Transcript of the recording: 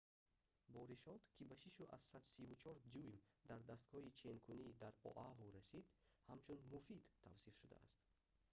боришот ки ба 6,34 дюйм дар дастгоҳи ченкунӣ дар оаҳу расид ҳамчун муфид тавсиф шудааст